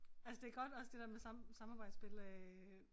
Altså det godt også det der med samarbejdsspil øh